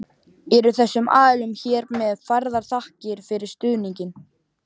Eru þessum aðilum hér með færðar þakkir fyrir stuðninginn.